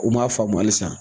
U m'a faamu hali san